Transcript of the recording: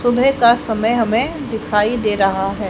तुम्हें का समय हमें दिखाई दे रहा है।